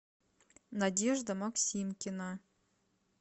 надежда максимкина